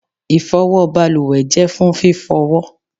ifowo baluwe je fún fifowo